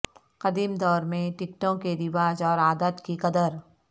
قدیم دور میں ٹکٹوں کے رواج اور عادات کی قدر